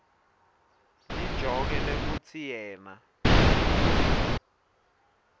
lijoke lekutsi yena